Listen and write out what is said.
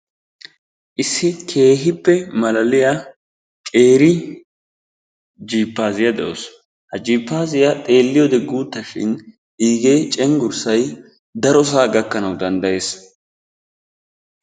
Issi keehippe malaaliyaa qeeri jiippasiyaa dawus. Ha jiippasiyaa xeelliyoode guuttashin xeelliyoode cenggurssay darosaa gaakkanwu dnaddayees.